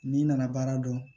N'i nana baara dɔn